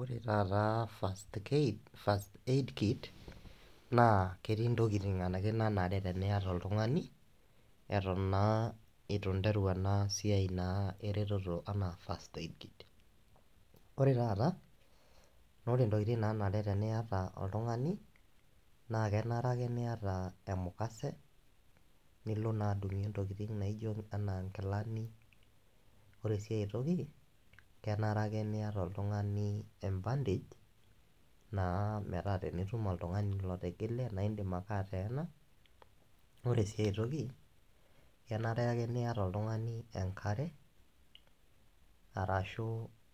Ore taata first kaid, first aid kit naa ketii ntokitin anake nanare teniata oltungani eton naa itu ineru naa enasiai ereteto anaa first aid. Ore taata naa ore ntokitin nanare teniata oltungani naa kenare ake niata emukase nilo naa adungie ntokitin naijo enaa nkilani . Ore siae toki kenare ake niata oltungani embandage naa metaa tenitum oltungani lotigile naa indim ake ateena naa ore siae toki, kenare ake niata oltungani enkare arashu